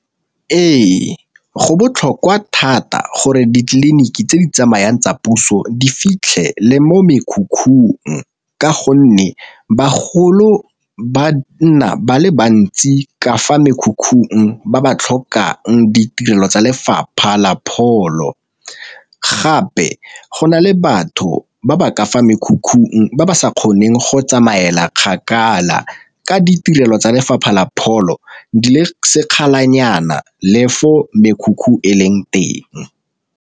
Ee, go botlhokwa thata gore ditleliniki tse di tsamayang tsa puso di fitlhe le mo mekhukhung, ka gonne bagolo ba nna ba le bantsi ka fa mekhukhung ba ba tlhokang ditirelo tsa lefapha la pholo. Gape go na le batho ba ba ka fa mekhukhung ba ba sa kgoneng go tsamaela kgakala ka ditirelo tsa lefapha la pholo di le sekgala nyana le fo mekhukhu e leng teng.